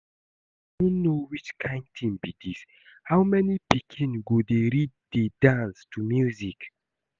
I no know which kin thing be dis. How my pikin go dey read dey dance to music